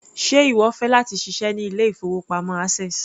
Ṣe ìwọ fẹ́ láti ṣiṣẹ́ ní ilé-ìfowópamọ́ access?